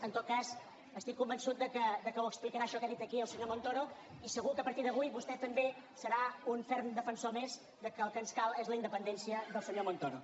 en tot cas estic convençut que ho explicarà això que ha dit aquí al senyor montoro i segur que a partir d’avui vostè també serà un ferm defensor més que el que ens cal és la independència del senyor montoro